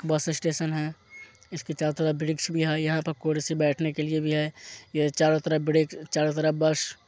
बस स्टेशन है इसके चारो तरफ वृक्ष भी है यहाँ पर कुर्सी बैठने के लिए भी है यह चारो तरफ वृक्ष चारो तरफ बस --